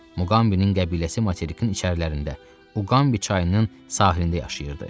Muqambinin qəbiləsi materikin içərilərində, Uqambi çayının sahilində yaşayırdı.